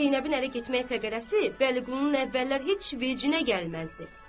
Zeynəbin ərə getmək pəqərəsi Vəliqulunun əvvəllər heç vecinə gəlməzdi.